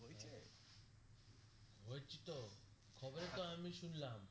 হয়েছে তো খবরে তো আমি শুনলাম